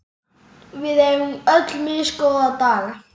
Við eigum öll misgóða daga.